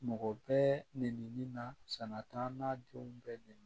Mɔgɔ bɛɛ neni nin na sanatana denw bɛɛ nɛni